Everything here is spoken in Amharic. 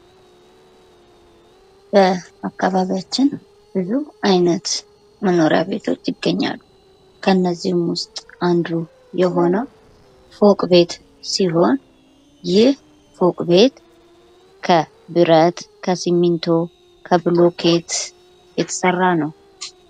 በአካባቢያችን ብዙ አይነት መኖሪያ ቤቶች ይገኛሉ ከነዚህም ውስጥ አንዱ የሆነው ፎቅ ቤት ሲሆን ይህ ፎቅ ቤት ከብረት ከስሜንቶ ከብሎኬት የተሰራ ነው።